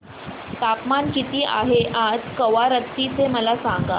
तापमान किती आहे आज कवारत्ती चे मला सांगा